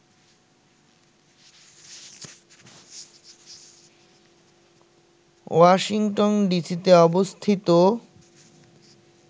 Washington ডিসিতে অবস্থিত